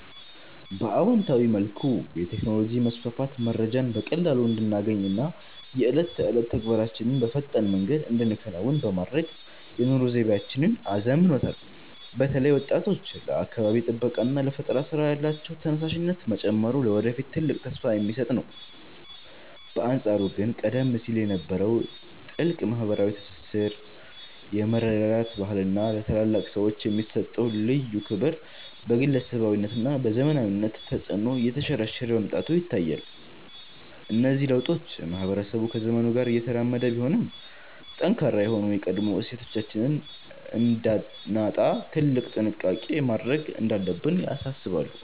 በአዎንታዊ መልኩ፣ የቴክኖሎጂ መስፋፋት መረጃን በቀላሉ እንድናገኝና የዕለት ተዕለት ተግባራችንን በፈጣን መንገድ እንድንከውን በማድረግ የኑሮ ዘይቤያችንን አዘምኖታል። በተለይ ወጣቶች ለአካባቢ ጥበቃና ለፈጠራ ሥራ ያላቸው ተነሳሽነት መጨመሩ ለወደፊት ትልቅ ተስፋ የሚሰጥ ነው። በአንጻሩ ግን ቀደም ሲል የነበረው ጥልቅ ማኅበራዊ ትስስር፣ የመረዳዳት ባህልና ለታላላቅ ሰዎች የሚሰጠው ልዩ ክብር በግለሰባዊነትና በዘመናዊነት ተጽዕኖ እየተሸረሸረ መምጣቱ ይታያል። እነዚህ ለውጦች ማኅበረሰቡ ከዘመኑ ጋር እየተራመደ ቢሆንም፣ ጠንካራ የሆኑ የቀድሞ እሴቶቻችንን እንዳናጣ ትልቅ ጥንቃቄ ማድረግ እንዳለብን ያሳስባሉ።